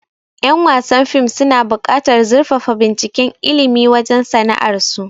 Yan wasan fim suna bukatar zurfafa binciken ilmi wajen sana'ar su